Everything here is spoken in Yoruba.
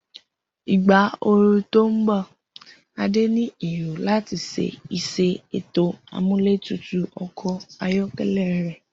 Igba ooru to nbọ, Ade ni ero lati ṣe iṣẹ eto amuletutu ọkọ ayọkẹlẹ rẹ.